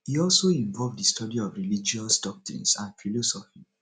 e also involve di study of religious doctrines and philosophy